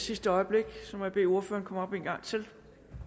i sidste øjeblik så må jeg bede ordføreren om en gang til